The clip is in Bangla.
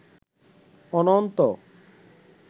অনন্ত